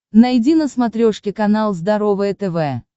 найди на смотрешке канал здоровое тв